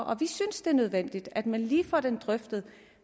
og vi synes det er nødvendigt at man lige får det drøftet